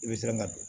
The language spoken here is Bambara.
I bɛ siran ka don